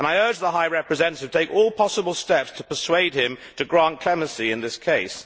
I urge the High Representative to take all possible steps to persuade him to grant clemency in this case.